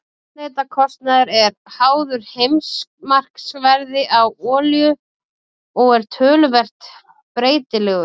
Eldsneytiskostnaður er háður heimsmarkaðsverði á olíu og er talsvert breytilegur.